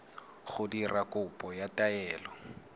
go dira kopo ya taelo